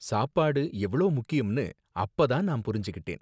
சாப்பாடு எவ்ளோ முக்கியம்னு அப்ப தான் நான் புரிஞ்சுகிட்டேன்